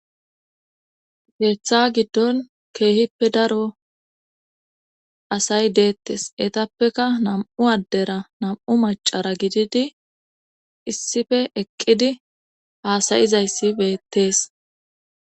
Keeththa giddon keehippe daro asay deettes etappeka nam7u addera nam7u macara gididi issife eqqidi haasayizayssibeettees.